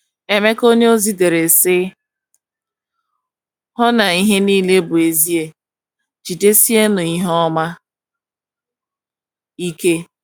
Emeka onyeozi dere, sị: “hu na ihe nile bụ ezie; jidesienụ ihe ọma ike. ”